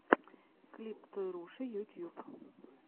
клип тойруши ютьюб